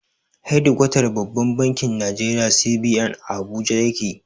Hedikwatar babban bankin Nigeria (CBN) a Abuja yake.